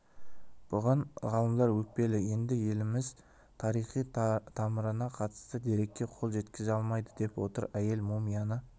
бұған ғалымдар өкпелі енді еліміз тарихи тамырына қатысты дерекке қол жеткізе алмайды деп отыр әйел мумияны